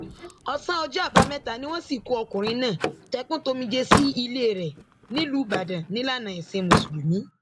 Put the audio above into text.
ọsán ọjọ àbámẹta ni wọn sìnkú ọkùnrin náà tẹkùntòmijé sí ilé rẹ nílùú ibodàn nílànà ẹsìn mùsùlùmí